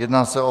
Jedná se o